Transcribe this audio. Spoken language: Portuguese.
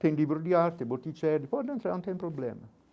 Tem livro de arte, boticheiro, pode entrar, não tem problema.